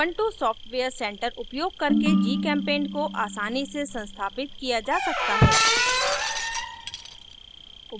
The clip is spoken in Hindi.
ubuntu सॉफ्टवेयर center उपयोग करके gchempaint को आसानी से संस्थापित किया जा सकता है